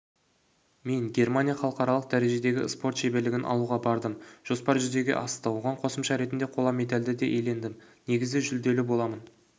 мен германия халықаралық дәрежедегі спорт шеберлігін алуға бардым жоспар жүзеге асты оған қосымша ретінде қола медальді де иелендім негізі жүлделі боламын